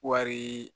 Wari